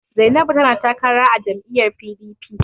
Zainabu tana takara a jam'lyyar PDP.